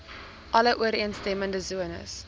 alle ooreenstemmende sones